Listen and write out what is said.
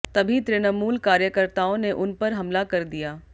तभी तृणमूल कार्यकर्ताओं ने उन पर हमला कर दिया